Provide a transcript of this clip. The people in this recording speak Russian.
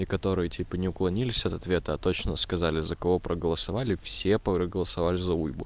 и который типа не уклонились от ответа а точно сказали за кого проголосовали все проголосовали за уйбу